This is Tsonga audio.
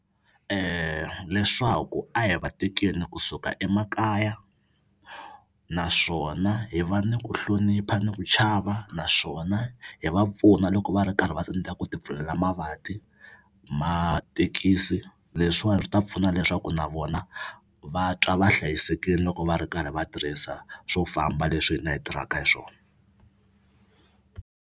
Leswaku a hi va tekeni kusuka emakaya naswona hi va ni ku hlonipha ni ku chava naswona hi va pfuna loko va ri karhi va tsandzeka ku ti pfulela mavati matekisi leswiwani swi ta pfuna leswaku na vona va twa va hlayisekini loko va ri karhi va tirhisa swo famba leswi hina hi tirhaka hi swona.